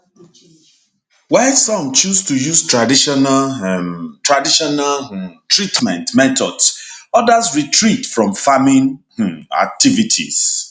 while some choose to use traditional um traditional um treatment methods odas retreat from farming um activities